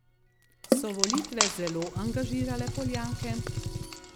So volitve zelo angažirale Poljake?